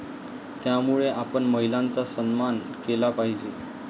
त्यामुळेच आपण महिलांचा सन्मान केला पाहिजे.